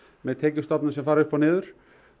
með tekjustofnum sem fara upp og niður